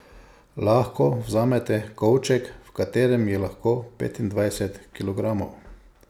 Lahko vzamete kovček, v katerem je lahko petindvajset kilogramov!